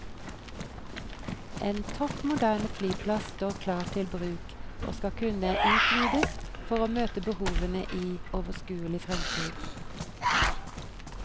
En topp moderne flyplass står klar til bruk, og skal kunne utvides for å møte behovene i overskuelig fremtid.